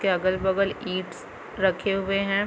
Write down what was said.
के अगल बगल ईंटस रखे हुएं हैं।